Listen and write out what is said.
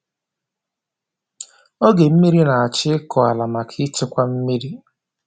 oge mmiri na-achọ ịkụ ala maka ịchekwa mmiri.